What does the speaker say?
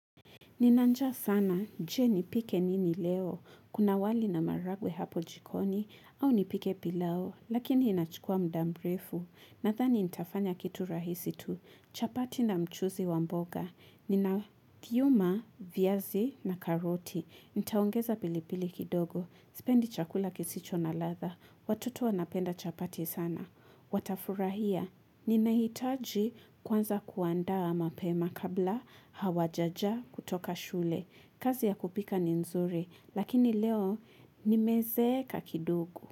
Nina njaa sana, je nipike nini leo, kuna wali na maragwe hapo jikoni, au nipike pilau, lakini inachukua mda mrefu, nathani nitafanya kitu rahisi tu, chapati na mchuzi wa mboga, nina thiuma, viazi na karoti, nitaongeza pilipili kidogo, sipendi chakula kisicho na ladha, watoto wanapenda chapati sana. Watafurahia, ninahitaji kwanza kuandaa mapema kabla hawajaja kutoka shule. Kazi ya kupika ni nzuri, lakini leo nimezeeka kidogo.